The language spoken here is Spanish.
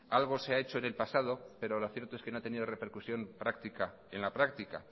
algo se ha hecho en el pasado pero lo cierto es que no ha tenido repercusión práctica en la práctica